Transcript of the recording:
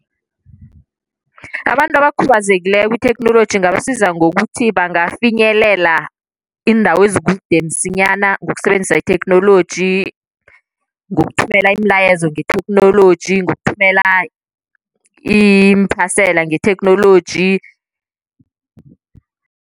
Abantu abakhubazekileko itheknoloji ingabasiza ngokuthi bangayifinyelela indawo ezikude msinyana ngokusebenzisa itheknoloji. Ngokuthumela imilayezo ngetheknoloji, ngokuthumela iimphasela ngetheknoloji.